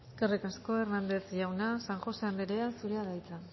eskerrik asko hernández jauna san josé andrea zurea da hitza